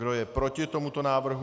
Kdo je proti tomuto návrhu?